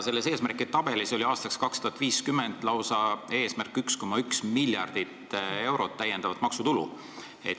Selles tabelis oli aastaks 2050 seatud lausa selline eesmärk – 1,1 miljardit eurot täiendavat maksutulu.